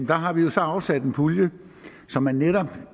der har vi så afsat en pulje så man netop